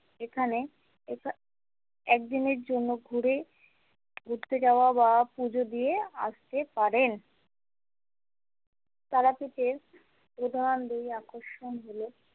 এখানে এক দিনের জন্য ঘুরে ঘুরতে যাওয়া বা পুজো দিয়ে আসতে পারেন তারাপীঠের প্রধান দুই আকর্ষণ হল।